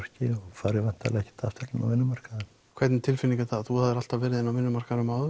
færi ekkert aftur inn á vinnumarkaðinn hvernig tilfinning er það þú hafðir alltaf verið inni á vinnumarkaðnum áður